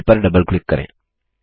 mail पर double click करें